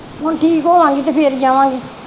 ਹੁਣ ਠੀਕ ਹੋਵਾਂਗੀ ਤੇ ਫਿਰ ਜਾਵਾਂਗੀ।